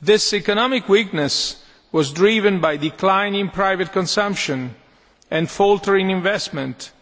This economic weakness was driven by declining private consumption and faltering investment,